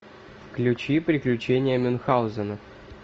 включи приключения мюнхаузена